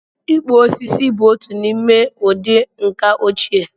Ịkpụ osisi bụ otu n'ime ụdị ǹkà ochie